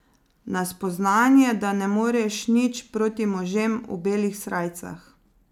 Na spoznanje, da ne moreš nič proti možem v belih srajcah.